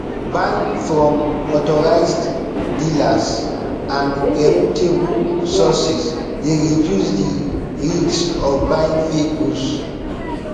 buying from authorized dealers and reputable sources dey reduce di risk of buying fake goods